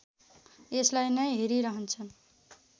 यसलाई नै हेरिरहन्छन्